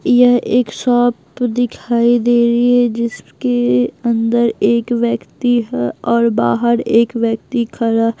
यह एक शॉप दिखाई दे रही है जिसके अंदर एक व्यक्ति है और बाहर एक व्यक्ति खड़ा --